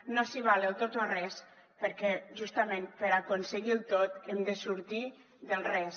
no s’hi val el tot o res perquè justament per aconseguir el tot hem de sortir del res